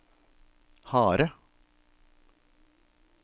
harde